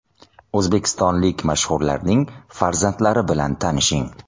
O‘zbekistonlik mashhurlarning farzandlari bilan tanishing.